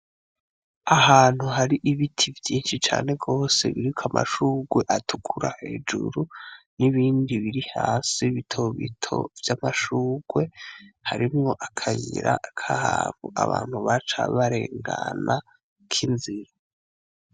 Ahantu hari ibiti vyinshi cane gose biriko amashurwe atukura hejuru n'ibindi biri hasi bito bito vy'amashurwe harimwo akayira k'ahantu abantu baca barengana k'inzira.